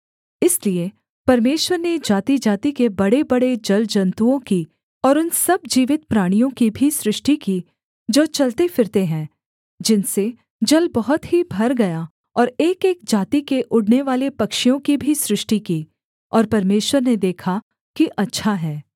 इसलिए परमेश्वर ने जातिजाति के बड़ेबड़े जलजन्तुओं की और उन सब जीवित प्राणियों की भी सृष्टि की जो चलते फिरते हैं जिनसे जल बहुत ही भर गया और एकएक जाति के उड़नेवाले पक्षियों की भी सृष्टि की और परमेश्वर ने देखा कि अच्छा है